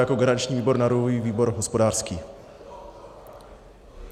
Jako garanční výbor navrhuji výbor hospodářský.